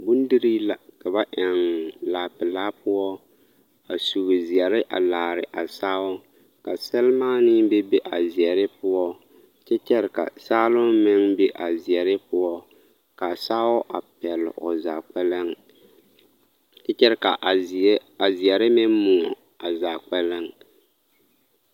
Bondirii la ka ba eŋ laa pelaa poɔ a sugi zeɛre a laare a sao, ka sɛremaanee bebe a zeɛre poɔ kyɛ kyɛre ka saaloŋ meŋ be a zeɛre poɔ k'a sao a pɛle o zaa kpɛlɛŋ kyɛ kyɛre k'a zeɛre meŋ moɔ zaa kpɛlɛŋ.